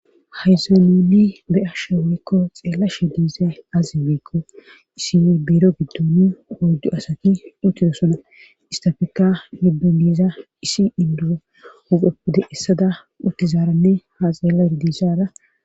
Haysan nuni beyashewoykko xeella shidiisa azi wiikko isi biiro giddoni hoydu asaki uttido sona istafeka nibbenbiza isi induo upeppude essada uttizaaranne ha xeella erodisada